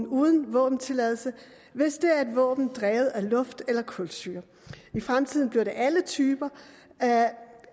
uden våbentilladelse hvis det er et våben drevet af luft eller kulsyre i fremtiden bliver det alle typer